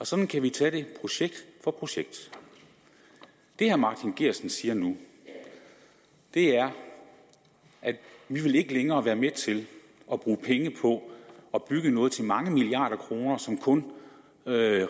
sådan kan vi tage det projekt for projekt det herre martin geertsen siger nu er at de ikke længere vil være med til at bruge penge på at bygge noget til mange milliarder kroner som kun